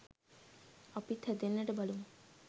අපිත් හැදෙන්නට බලමු.